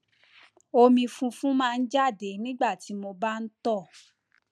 omi funfun máa ń jáde nígbà tí mo bá ń tọ